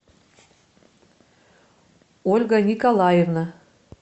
ольга николаевна